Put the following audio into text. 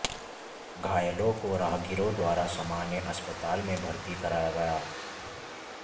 घायलों को राहगीरों द्वारा सामान्य अस्पताल में भर्ती कराया गया